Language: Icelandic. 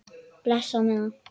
Bless á meðan.